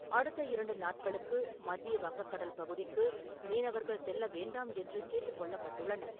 அடுத்த இரண்டு நாட்களுக்கு மத்திய வங்கக்கடல் பகுதிக்கு மீனவர்கள் செல்ல வேண்டாம் என்று கேட்டுக் கொள்ளப்பட்டுள்ளனர்.